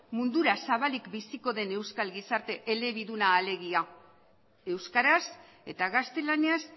mundura zabalik biziko den euskal gizarte elebiduna alegia euskaraz eta gaztelaniaz